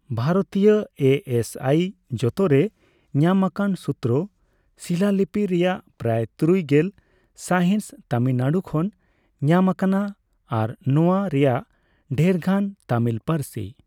ᱵᱷᱟᱨᱚᱛᱤᱭᱟᱹ ᱮ ᱮᱥᱹᱟᱭ ᱡᱚᱛᱚᱨᱮ ᱧᱟᱢᱟᱠᱟᱱ ᱥᱩᱛᱨᱟᱼᱥᱤᱞᱟᱹᱞᱤᱯᱤ ᱨᱮᱭᱟᱜ ᱯᱨᱟᱭ ᱛᱩᱨᱩᱭ ᱜᱮᱞ ᱥᱟᱭᱦᱤᱸᱥ ᱛᱟᱢᱤᱞᱱᱟᱹᱲᱩ ᱠᱷᱚᱱ ᱧᱟᱢ ᱟᱠᱟᱱᱟ, ᱟᱨ ᱱᱚᱣᱟ ᱨᱮᱭᱟᱜ ᱰᱷᱮᱨᱜᱟᱱ ᱛᱟᱹᱢᱤᱞ ᱯᱟᱹᱨᱥᱤ ᱾